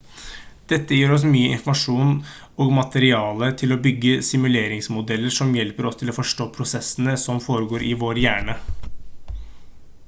dette gir oss mye informasjon og materiale til å bygge simuleringsmodeller som hjelper oss til å forstå prosessene som foregår i vår hjerne